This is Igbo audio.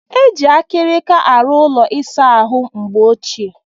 E jiiri akarika arụ ụlọ ịsa ahụ mgbe ochie.